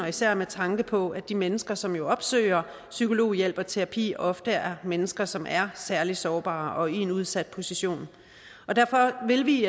især med tanke på at de mennesker som jo opsøger psykologhjælp og terapi ofte er mennesker som er særlig sårbare og i en udsat position derfor vil vi i